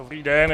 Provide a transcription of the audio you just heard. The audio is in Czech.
Dobrý den.